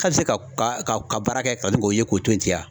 Ka se ka ka baara kɛ ka se k'o to ye ten wa.